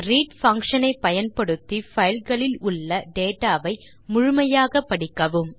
read function ஐ பயன்படுத்தி file களில் உள்ள டேட்டா வை முழுமையாக படிக்கவும்